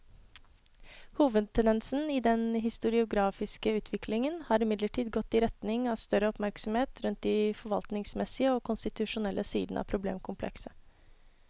Hovedtendensen i den historiografiske utviklingen har imidlertid gått i retning av større oppmerksomhet rundt de forvaltningsmessige og konstitusjonelle sidene av problemkomplekset.